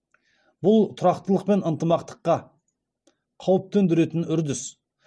бұл тұрақтылық пен ынтымақтыққа қауіп төндіретін үрдіс